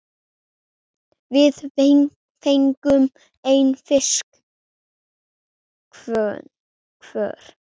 Við fengum einn fisk hvor.